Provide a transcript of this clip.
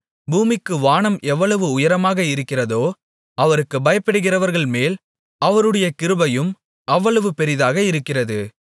பூமிக்கு வானம் எவ்வளவு உயரமாக இருக்கிறதோ அவருக்குப் பயப்படுகிறவர்கள்மேல் அவருடைய கிருபையும் அவ்வளவு பெரிதாக இருக்கிறது